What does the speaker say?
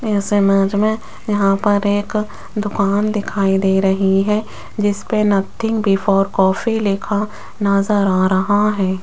इस इमेज मे यहां पर एक दुकान दिखाई दे रही है जिसपे नथिंग बिफोर कॉफी लिखा नजर आ रहा है।